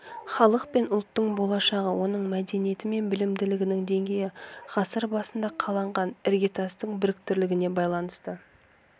халық пен ұлттың болашағы оның мәдениеті мен білімділігінің деңгейі ғасыр басында қаланған іргетастың беріктілігіне байланысты